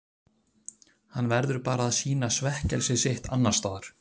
Hann verður bara að sýna svekkelsi sitt annars staðar.